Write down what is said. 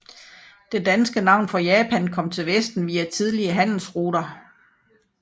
Det danske navn for Japan kom til vesten via tidlige handelsruter